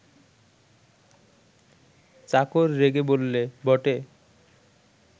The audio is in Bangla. চাকর রেগে বললে, বটে